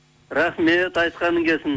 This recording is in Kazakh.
рахмет айтқаның келсін